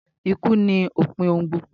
Ikú ni òpin ohun gbogbo